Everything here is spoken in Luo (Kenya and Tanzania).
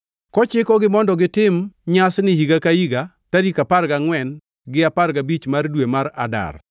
kochikogi mondo gitim nyasini higa ka higa, tarik apar gangʼwen gi apar gabich mar dwe mar Adar,